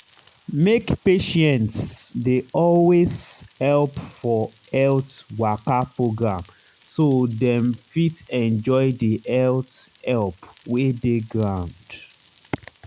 make patients dey always help for health waka program so dem fit enjoy the health help wey dey ground.